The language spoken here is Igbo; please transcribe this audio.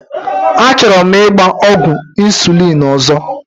Achọrọ m ịgba ọgwụ insulin ọzọ.